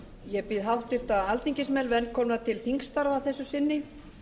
ég býð háttvirta alþingismenn velkomna til þingstarfa að þessu sinni